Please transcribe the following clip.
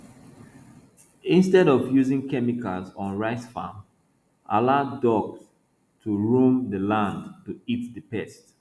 instead of using chemicals on rice farms allow ducks to roam the land to eat the pests